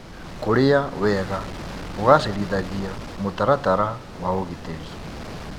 Kũrĩa wega kũgacĩrithagia mũtaratara wa ũgitĩri.